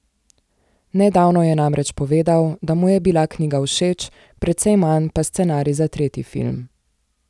Nedavno je namreč povedal, da mu je bila knjiga všeč, precej manj pa scenarij za tretji film.